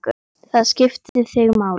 Það skipti þig máli.